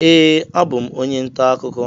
Ee, abụ m onye ntaakụkọ